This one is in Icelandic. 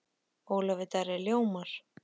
Ólafur Darri ljómar.